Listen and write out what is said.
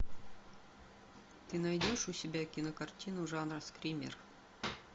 ты найдешь у себя кинокартину жанра скример